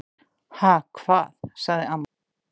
"""Ha, hvað? sagði amma."""